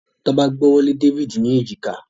Toba gb'ọwọ Lẹ David ní Èjìká.